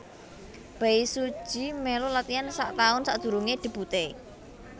Bae Suji mèlu latian sak taun sadurungé debuté